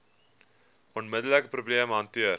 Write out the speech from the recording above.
onmiddelike probleem hanteer